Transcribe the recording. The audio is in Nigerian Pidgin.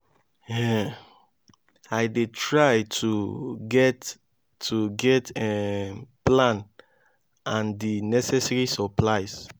um i dey try to get to get um plan and di necessary supplies.